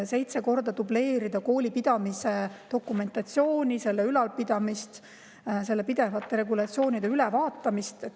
Seitse korda dubleeritakse kooli pidamise dokumentatsiooni, selle ülalpidamist, pidevat regulatsioonide ülevaatamist.